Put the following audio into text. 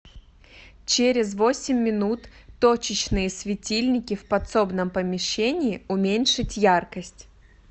через восемь минут точечные светильники в подсобном помещении уменьшить яркость